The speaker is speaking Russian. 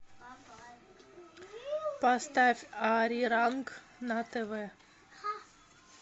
поставь ариранг на тв